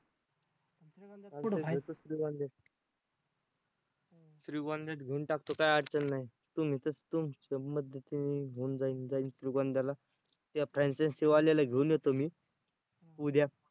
श्रीगोंद्यात घेऊन टाकतो काय अडचण नाही. तुमच्या मध्यस्थीने घेऊन जाईन श्रीगोंद्याला त्या franchise वाल्याला घेऊन येतो मी उद्या